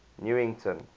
newington